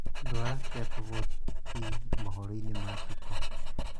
ndwara kea tovuti mohoro-ĩnĩ ma tuko